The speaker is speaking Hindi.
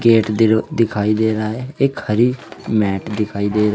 गेट दिखाई दे रहा है एक हरी मेट दिखाई दे रही--